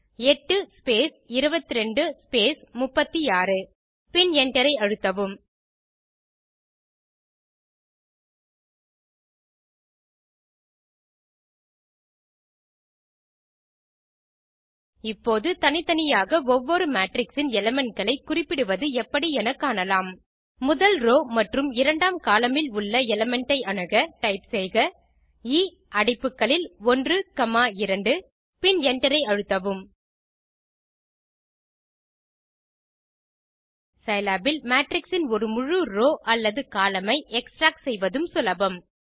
8 space 22 space 36 பின் Enter ஐ அழுத்தவும் இப்போது தனித்தனியாக ஒவ்வொரு மேட்ரிக்ஸ் இன் எலிமெண்ட் களை குறிப்பிடுவது எப்படி என காணலாம் முதல் ரோவ் மற்றும் இரண்டாம் கோலம்ன் ல் உள்ள எலிமெண்ட் ஐ அணுக டைப் செய்க எ அடைப்புகளில் 12 பின் Enter ஐ அழுத்தவும் சிலாப் இல் மேட்ரிக்ஸ் இன் ஒரு முழு ரோவ் அல்லது கோலம்ன் ஐ எக்ஸ்ட்ராக்ட் செய்வதும் சுலபம்